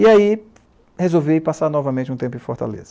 E aí, resolvi passar novamente um tempo em Fortaleza.